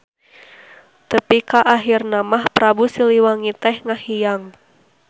Tepi ka ahirna mah Prabu Siliwangi teh ngahiang.